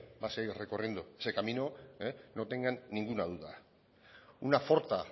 va a seguir recorriendo ese camino no tengan ninguna duda una forta